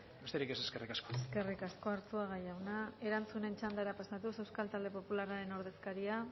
besterik ez eskerrik asko eskerrik asko arzuaga jauna erantzunen txandara pasatuz euskal talde popularraren ordezkaria